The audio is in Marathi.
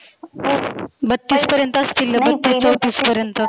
बत्तीस पर्यंत असतील बत्तीस चौतीस पर्यंत.